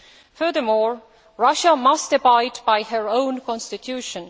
Furthermore, Russia must abide by her own constitution.